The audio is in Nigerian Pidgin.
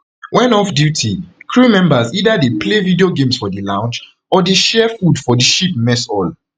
wen offduty crew members either dey play video games for di lounge or dey share food for di ship mess hall